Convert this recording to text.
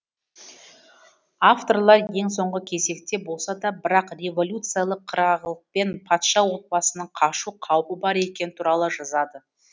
авторлар ең соңғы кезекте болса да бірақ революциялық қырағылықпен патша отбасының қашу қаупі бар екені туралы жазады